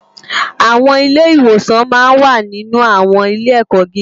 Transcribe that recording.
Awòn Ilè iwòsán mà n wá ninú áwòn ilé èkò gigá